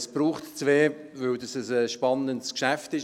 Es braucht aber zwei, weil es ein spannendes Geschäft ist.